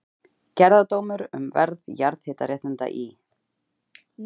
Gerðardómur um verð jarðhitaréttinda í